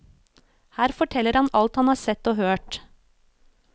Her forteller han alt han har sett og hørt.